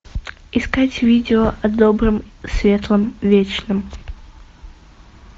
искать видео о добром светлом вечном